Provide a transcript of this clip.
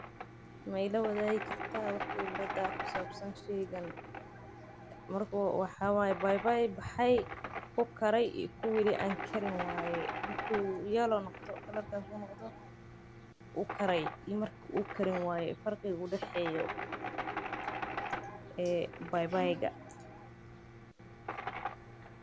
Ma ila waadigi kartaa waxa khibrad ku sabsan howshan waa baybay bexe op kare iyo mida kale.